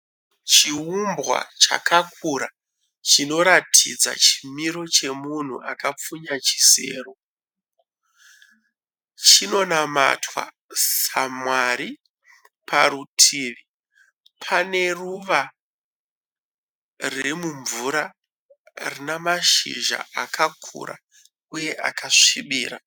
Chiumbwa chakakura chinoratidza chimiro chemunhu akapfunya chisero. Chinonamatwa saMwari. Parutivi pane ruva riri mumvura rine mashizha akakura uye akasvibira.